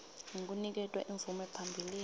ngekuniketwa imvume phambilini